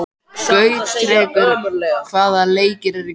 Gautrekur, hvaða leikir eru í kvöld?